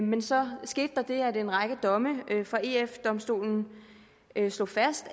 men så skete der det at en række domme fra eu domstolen slog fast